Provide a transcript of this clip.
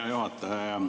Hea juhataja!